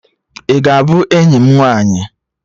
Ị ga-abụ enyi m nwaanyị?